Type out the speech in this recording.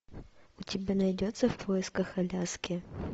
у тебя найдется в поисках аляски